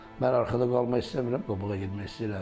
Mən arxada qalmaq istəmirəm, qabağa getmək istəyirəm.